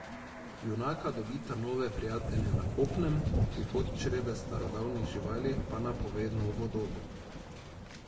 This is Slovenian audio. Junaka dobita nove prijatelje na kopnem, prihod črede starodavnih živali pa napove novo dobo.